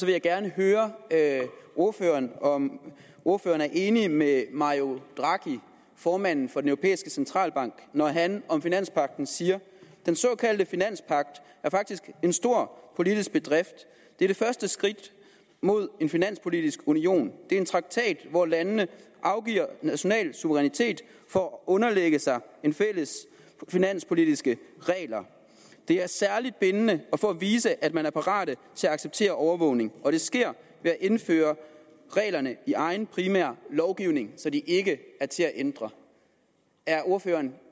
jeg gerne høre ordføreren om ordføreren er enig med mario draghi formanden for den europæiske centralbank når han om finanspagten siger den såkaldte finanspagt er faktisk en stor politisk bedrift det er det første skridt mod en finanspolitisk union det er en traktat hvor landene afgiver national suverænitet for at underlægge sig fælles finanspolitiske regler det er særligt bindende for at vise at man er parat til at acceptere overvågning og det sker ved at indføre reglerne i egen primære lovgivning så de ikke er til at ændre er ordføreren